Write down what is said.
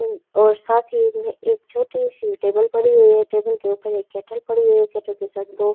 और साथ ही में एक छोटी सी टेबल पड़ी हुई है टेबल के ऊपर एक केटल पड़ी हुई है केटल के साथ दो।